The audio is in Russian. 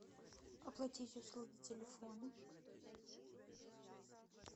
оплатить услуги телефон